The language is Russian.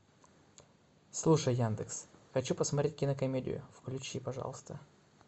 слушай яндекс хочу посмотреть кинокомедию включи пожалуйста